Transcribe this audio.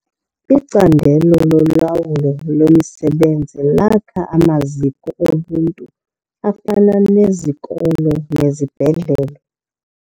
Icandelo lolawulo lwemisebenzi lakha amaziko oluntu afana nezikolo nezibhedlele.